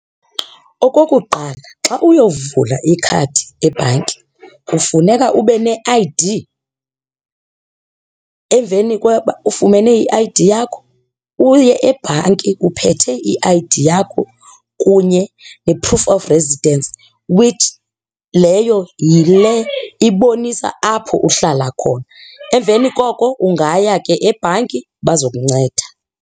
Okokuqala, xa uyovula ikhadi ebhanki kufuneka ube ne-I_D, emveni koba ufumene i-I_D yakho uye ebhanki uphethe i-I_D yakho kunye ne-proof of residence, which, leyo yile ibonisa apho uhlala khona. Emveni koko ungaya ke ebhanki bazokunceda.